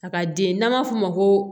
A ka den n'an m'a f'o ma ko